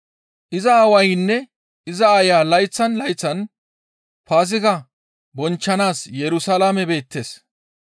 Iza aawaynne iza aaya layththan layththan Paaziga bonchchanaas Yerusalaame beettes.